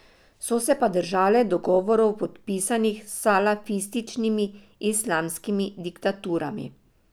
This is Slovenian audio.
So se pa držale dogovorov podpisanih s salafističnimi islamskimi diktaturami.